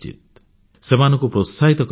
ସେମାନଙ୍କୁ ପ୍ରୋତ୍ସାହିତ କରିବା ଉଚିତ